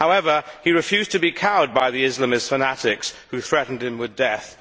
However, he refused to be cowed by the Islamist fanatics who threatened him with death.